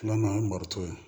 Filanan ye maritu ye